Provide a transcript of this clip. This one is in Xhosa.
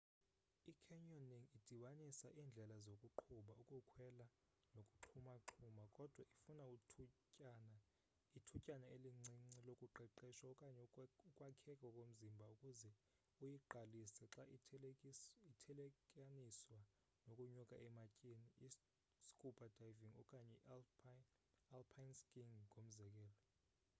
i-canyoning idibanisa indlela zokuqubha ukukhwela nokuxhumaxhuma—kodwa ifuna ithutyana elincinci lokuqeqeshwa okanye ukwakheka komzimba ukuze uyiqalise xa ithelekaniswa nokunyuka ematyeni i-scuba diving okanye i-alpine skiing ngomzekelo